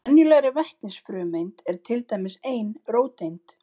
Í venjulegri vetnisfrumeind er til dæmis ein róteind.